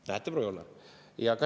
Näete, proua Joller!